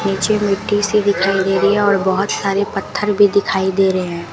नीचे मिट्टी सी दिखाई दे रही है और बोहोत सारे पत्थर भी दिखाई दे रहे हैं।